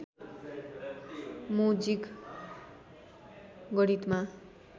मो जिग गणितमा